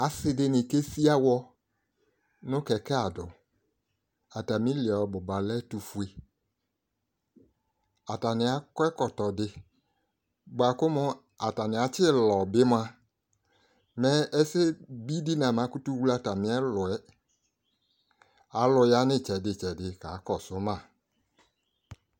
Asidini kesi awɔ nu kɛkɛ adu atami li ɔbuba lɛ ɛtufue atani akɔ ɛkɔtɔ di buaku atani atilɔ bi mua mɛ ɛsɛbidi namakutu wle atami ɛlu yɛ alu ya nu itsɛdi tsɛdi ka kɔsu ma